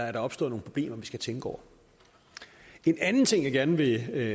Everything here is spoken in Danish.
er opstået nogle problemer vi skal tænke over en anden ting jeg gerne vil